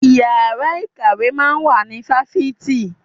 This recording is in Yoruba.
Ìyára ìkàwé máa ń wà ní fáfitì.